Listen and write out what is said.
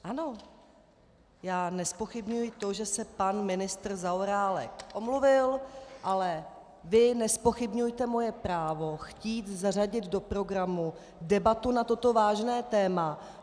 Ano, já nezpochybňuji to, že se pan ministr Zaorálek omluvil, ale vy nezpochybňujte moje právo chtít zařadit do programu debatu na toto vážné téma.